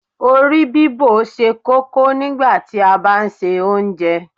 Orí bíbò ṣe kókó nígbàtí a bá ń se Oúnjẹ